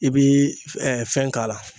I bi ɛ fɛn k'a la